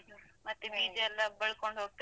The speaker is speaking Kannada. ಮತ್ತೆ ಬೀಜಯೆಲ್ಲಾ ಬಳ್ಕೊಂಡು ಹೋಗ್ತದೆ.